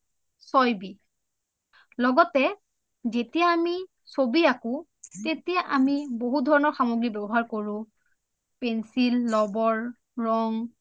চয় b লগতে যেতিয়া আমি চবি আকো তেতিয়া আমি বহু ধৰণৰ সামগ্ৰী ব্যৱহাৰ কৰো pencil, লবৰ, ৰং